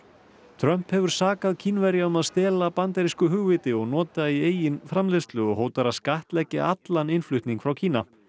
Trump hefur sakað Kínverja um að stela bandarísku hugviti og nota í eigin framleiðslu og hótar að skattleggja allan innflutning frá Kína